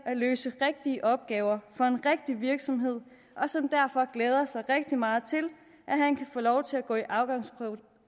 at løse rigtige opgaver for en rigtig virksomhed og som derfor glæder sig rigtig meget til at han kan få lov til at gå til afgangsprøve